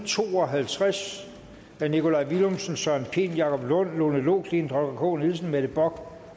to og halvtreds af nikolaj villumsen søren pind jacob lund lone loklindt holger k nielsen mette bock